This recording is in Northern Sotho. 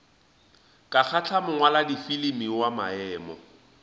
ka kgahla mongwaladifilimi wa maemo